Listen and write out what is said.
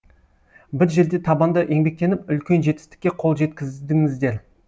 бір жерде табанды еңбектеніп үлкен жетістікке қол жеткіздіңіздер